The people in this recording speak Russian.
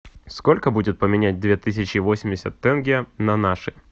сколько будет поменять две тысячи восемьдесят тенге на наши